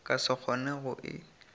ka se kgone go e